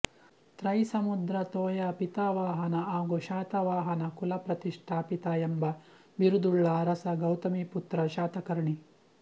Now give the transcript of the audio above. ತ್ರೈ ಸಮುದ್ರ ತೋಯಾ ಪಿತಾವಾಹನ ಹಾಗೂ ಶಾತವಾಹನ ಕುಲ ಪ್ರತಿಷ್ಠಾಪಿತ ಎಂಬ ಬಿರುದುಳ್ಳ ಅರಸ ಗೌತಮೀಪುತ್ರ ಶಾತಕರ್ಣಿ